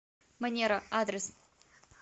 манера адрес